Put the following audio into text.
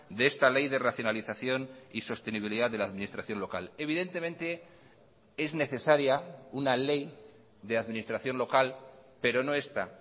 de esta ley de racionalización y sostenibilidad de la administración local evidentemente es necesaria una ley de administración local pero no esta